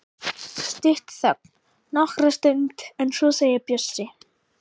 Stutt þögn nokkra stund en svo segir Bjössi: